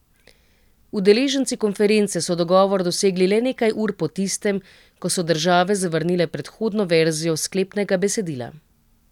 Udeleženci konference so dogovor dosegli le nekaj ur po tistem, ko so države zavrnile predhodno verzijo sklepnega besedila.